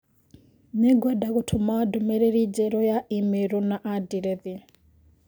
Nĩngwenda gũtũma ndũmĩrĩri njerũ ya i-mīrū na andirethi